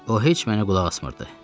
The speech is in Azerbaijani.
O heç mənə qulaq asmırdı.